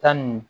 Tan ni